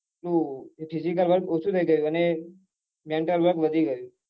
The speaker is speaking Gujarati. હા physical work ઓછુ થઇ ગયું અને mental work વધી ગયું